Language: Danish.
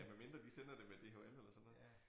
Ja medmindre de sender det med DHL eller sådan noget